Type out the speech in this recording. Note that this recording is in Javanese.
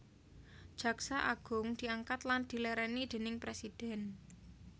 Jaksa Agung diangkat lan dilèrèni déning Presidhèn